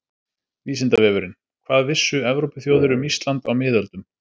Vísindavefurinn: Hvað vissu Evrópuþjóðir um Ísland á miðöldum?